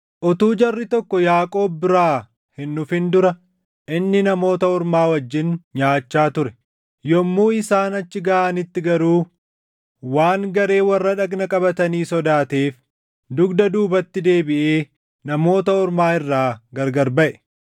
Utuu jarri tokko Yaaqoob biraa hin dhufin dura inni Namoota Ormaa wajjin nyaachaa ture. Yommuu isaan achi gaʼanitti garuu waan garee warra dhagna qabatanii sodaateef dugda duubatti deebiʼee Namoota Ormaa irraa gargar baʼe.